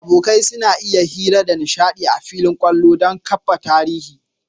Abokai suna hira da nishadi a fillin kwallo, dan kafa tarihi